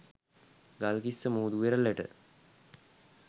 ගල්කිස්ස මුහුදු වෙරළට